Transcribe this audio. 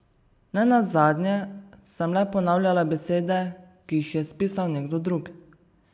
Ne nazadnje sem le ponavljala besede, ki jih je spisal nekdo drug.